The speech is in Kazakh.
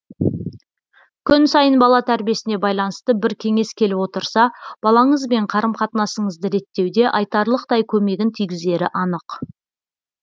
күн сайын бала тәрбиесіне байланысты бір кеңес келіп отырса балаңызбен қарыс қатынасыңызды реттеуде айтарлықтай көмегін тигізері анық